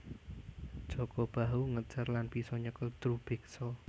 Jaka Bahu ngejar lan bisa nyekel Drubiksa